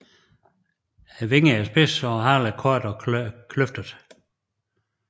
Vingerne er spidse og halen kort og kløftet